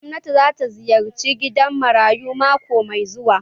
Gwamnan zai ziyarci gidan marayu mako mai zuwa